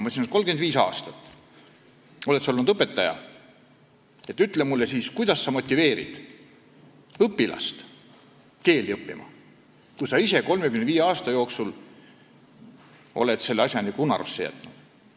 Ma ütlen talle siis, et sa oled 35 aastat olnud õpetaja, ütle mulle, kuidas sa motiveerid õpilast keeli õppima, kui sa ise 35 aasta jooksul oled selle asja unarusse jätnud.